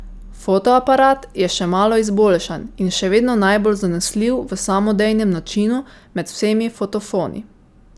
Fotoaparat je še malo izboljšan in še vedno najbolj zanesljiv v samodejnem načinu med vsemi fotofoni.